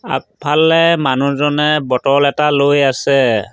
আগফালে মানুহজনে বটল এটা লৈ আছে।